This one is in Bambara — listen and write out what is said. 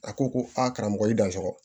A ko ko a karamɔgɔ i danso